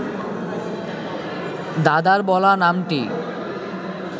দাদার বলা নামটি